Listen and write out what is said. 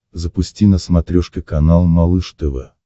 запусти на смотрешке канал малыш тв